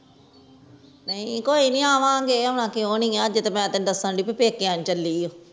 ਨਾਈ ਕੋਇਨੀ ਆਵਾ ਗਏ ਆਉਣਾ ਕਿਉਣੀ ਆ ਅਜੇ ਤਾ ਮੈਂ ਤੈਨੂੰ ਦੱਸਣ ਦੇਈਂ ਆ ਬ ਪੇਕਿਆਂ ਨੂੰ ਚਲੀ ਆ